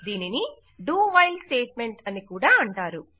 దీనిని do while statement అని కూడా అంటారు